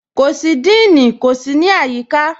Kò sí díìní, kò sí ní ayííkà.